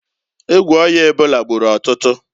Egwu oya ebola gburu ọtụtụ.